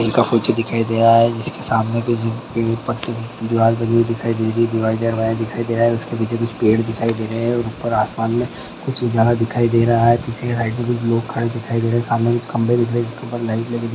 झील का फोटो दिखाई दे रहा है जिसके सामने दीवाल बनी दिखाई दे रही है दीवाल धीरे उसके पीछे कुछ पेड़ दिखाई दे रहे हैं ऊपर आसमान में कुछ पुजारा दिखाई दे रहा है पीछे के साइड में कुछ लोग खड़े हो दिखाई दे रही है सामने कुछ खंबे दिख रहे उनके ऊपर लाइट लगी हुई।